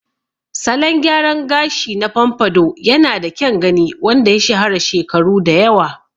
Salon gyaran gashi na pompadour yanada kyan gani wanda ya shahara shekaru da yawa.